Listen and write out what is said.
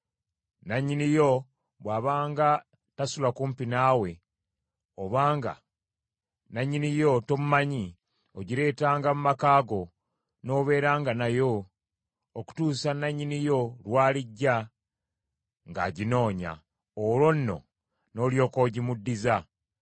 Nannyini yo bw’abanga tasula kumpi naawe, obanga nannyini yo tomumanyi, ogireetanga mu maka go n’obeeranga nayo okutuusa nannyini yo lw’alijja ng’aginoonya; olwo nno n’olyoka ogimuddiza.